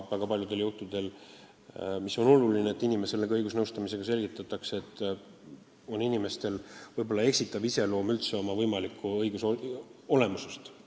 Väga paljudel juhtudel selgitatakse inimesele õigusnõustamise käigus, et ta on oma õigustest valesti aru saanud.